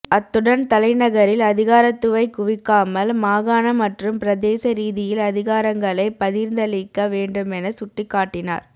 அத்துடன் தலைநகரில் அதிகாரத்தைக்குவிக்காமல் மாகாண மற்றும் பிரதேச ரீதியில் அதிகாரங்களை பகிர்ந்தளிக்க வேண்டுமென சுட்டிக்காட்டினார்